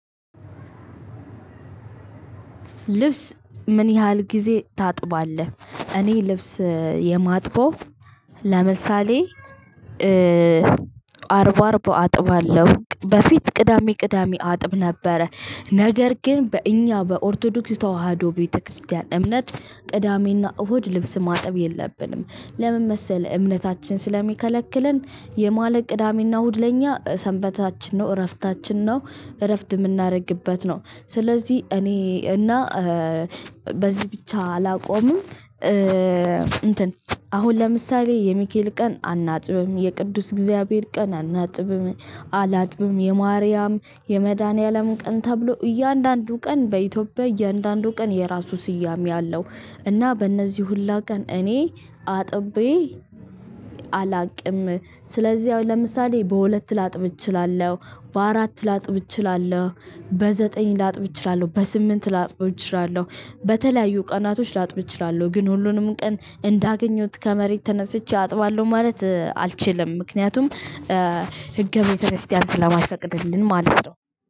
ልብስ ምን ያህል ጊዜ ታጥባለህ? እኔ ልብስ የማጥበው ለምሳሌ አርብ አርብ አጥባለሁ በፊት ቅዳሜ ቅዳሜ አጥብ ነበረ ነገር ግን በእኛ በኦርቶዶክስ ተዋህዶ ቤተክርስቲያን እምነት። ቅዳሜና እሁድ ልብስ ማጠብ የለብንም። ለምን መሰለህ እምነታችን ስለሚከለክለን። የማለቅ ቅዳሜና እሁድ ለኛ ሰንበታችን ነው እረፍታችን ነው። እረፍት የምናደርግበት ነው ስለዚህ እኔ እና በዚህ ብቻ አላቆምም። እንትን አሁን ለምሳሌ የሚካኤል ቀን አናጥብም የቅዱስ እግዚአብሔር ቀን አናጥብም። አላጥብም የማርያም የመድኃኒዓለም ቀን ተብሎ እያንዳንዱ ቀን በኢትዮጵያ እያንዳንዱ ቀን የራሱ ስያሜ አለው። እና በእነዚህ ሁላ ቀን እኔ አጥቤ አላቅም። ስለዚህ አሁን ለምሳሌ በሁለት ላጥብ እችላለሁ በአራት ላጥብ እችላለሁ በዘጠኝ ላጥብ እችላለሁ በስምንት ላጥብ እችላለሁ። በተለያዩ ቀናቶች ላጥብ እችላለሁ ግን ሁሉንም ቀን እንዳገኘሁት ከመሬት ተነስቼ አጥባለሁ ማለት አልችልም። ምክንያቱም ህገ ቤተክርስቲያን ስለማይፈቅድልን ማለት ነው።